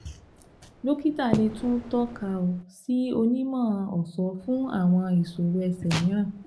Dọkita le tun tọka ọ si onimọ-ọṣọ fun awọn iṣoro ẹsẹ miiran